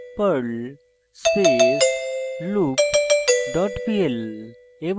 লিখুন perl space loop dot pl